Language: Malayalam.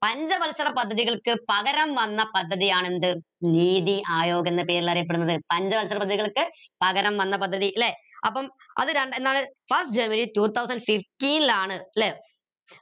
പഞ്ചവത്സര പദ്ധതികൾക്ക് പകരം വന്ന പദ്ധതിയാണ് എന്ത് നീതി ആയോഗ് എന്ന പേരിൽ അറിയപ്പെടുന്നത് പഞ്ചവത്സര പദ്ധതികൾക്ക് പകരം വന്ന പദ്ധതി ല്ലെ അപ്പം അത് രണ്ട് എന്താണ് first two thousand fifteen ലാണ് ല്ലെ